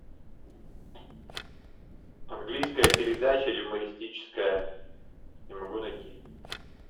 английская передача юмористическая не могу найти